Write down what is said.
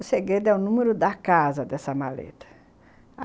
O segredo é o número da casa dessa maleta.